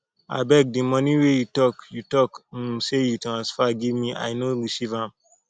abeg de money wey you talk you talk um say you transfer give me i no receive am